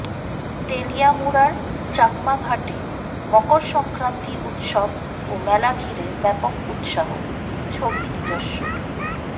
তেলিয়ামুড়ার চাকমাঘাটে মকর সংক্রান্তি উৎসব ও মেলা ঘিরে ব্যাপক উৎসাহ ছবি নিজস্ব